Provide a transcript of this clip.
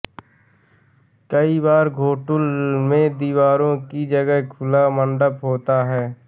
कई बार घोटुल में दीवारों की जगह खुला मण्डप होता है